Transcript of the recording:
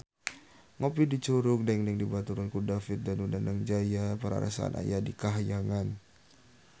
Ngopi di Curug Dengdeng dibaturan ku David Danu Danangjaya rarasaan aya di kahyangan